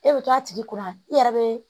E bɛ to a tigi kunna e yɛrɛ bɛ